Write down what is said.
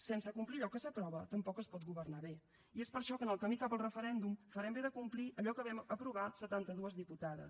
sense complir allò que s’aprova tampoc es pot governar bé i és per això que en el camí cap al referèndum farem bé de complir allò que vam aprovar setanta dues diputades